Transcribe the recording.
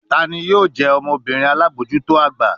Tani yoo jẹ ọmọbirin alabojuto agba?